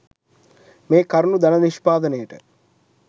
මේ කරුණු ධන නිෂ්පාදනයට